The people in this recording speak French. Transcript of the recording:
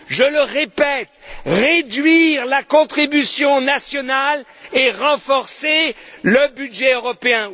Je le répète réduire la contribution nationale et renforcer le budget européen!